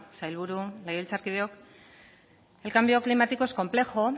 sailburu legebiltzarkideok el cambio climático es complejo